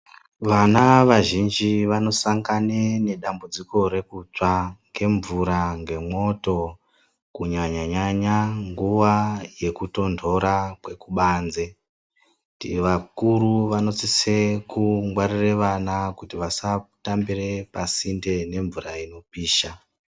Vana vazhinji vanosangane nedambudziko rekutsva ngemvura nemwoto kunyanya nyanya nguva yekutondora kwekubanze vakuru vanosuse kungwarire vana kuti vasatambire pasinde nemvura inopisha.